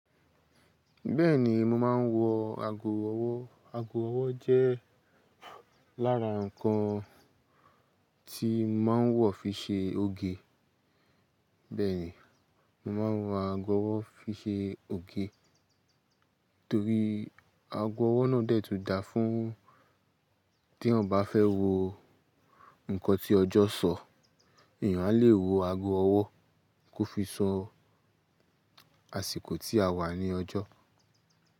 Bẹ́ẹ̀ni, mo máa ń wọ ago ọwọ́. Ago ọwọ́ jẹ́ lára nǹkan tí mo máa ń wọ̀ fi ṣe òge. Bẹ́ẹ̀ ni, mo máa ń wọ ago ọwọ́ fi ṣe òge. Torí ago ọwọ́ náà dẹ́ẹ̀ tún dáa fún tí èèyàn bá fẹ́ wo nǹkan tí ọjọ́ sọ, èèyàn a lè wo ago ọwọ́ kó fi sọ àsìkò tí a wà ní ọjọ́.